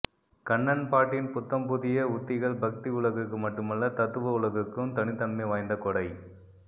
கண்ணன் பாட்டின் புத்தம் புதிய உத்திகள் பக்தி உலகுக்கு மட்டுமல்ல தத்துவ உலகுக்கும் தனித்தன்மை வாய்ந்த கொடை